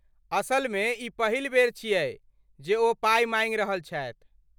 असलमे, ई पहिल बेर छियै जे ओ पाइ माँगि रहल छथि।